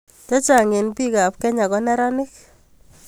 Che chang' eng' piik ap Kenya ko neranik